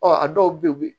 Ɔ a dɔw be yen